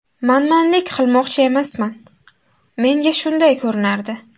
Manmanlik qilmoqchi emasman, menga shunday ko‘rinardi.